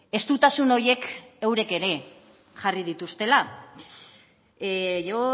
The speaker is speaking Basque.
estutasun horiek eurek ere jarri dituztela yo